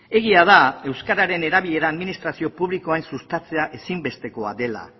egia da euskararen erabilera administrazio publikoan sustatzea ezinbestekoa dela